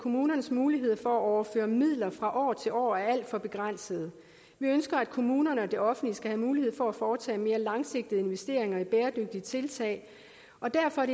kommunernes muligheder for at overføre midler fra år til år er alt for begrænsede vi ønsker at kommunerne og det offentlige skal have mulighed for at foretage mere langsigtede investeringer i bæredygtige tiltag og derfor er